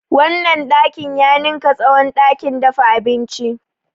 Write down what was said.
Wannan ɗakin ya ninka tsawon ɗakin dafa abinci.